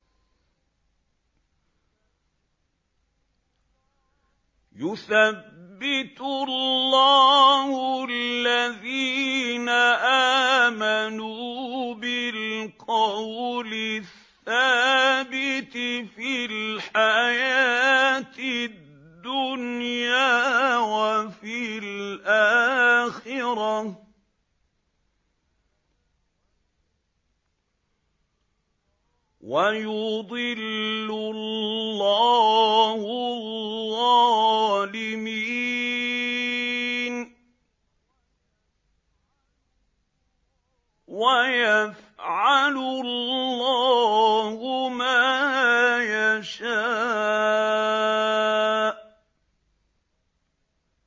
يُثَبِّتُ اللَّهُ الَّذِينَ آمَنُوا بِالْقَوْلِ الثَّابِتِ فِي الْحَيَاةِ الدُّنْيَا وَفِي الْآخِرَةِ ۖ وَيُضِلُّ اللَّهُ الظَّالِمِينَ ۚ وَيَفْعَلُ اللَّهُ مَا يَشَاءُ